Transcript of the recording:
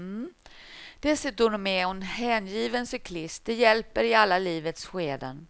Dessutom är hon hängiven cyklist, det hjälper i alla livets skeden.